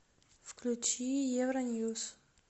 включи евроньюс